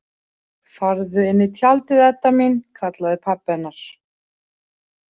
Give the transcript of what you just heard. Farðu inn í tjaldið, Edda mín, kallaði pabbi hennar.